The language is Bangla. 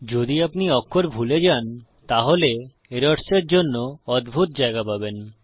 যদি আপনি অক্ষর ভুলে যান তাহলে এরর্স এর জন্য অদ্ভুত জায়গা পাবেন